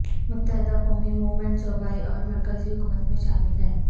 متحدہ قومی مومنٹ صوبائی اور مرکزی حکومت میں شامل ہے